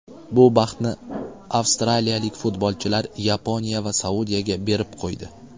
Bu baxtni avstraliyalik futbolchilar Yaponiya va Saudiyaga berib qo‘ydi.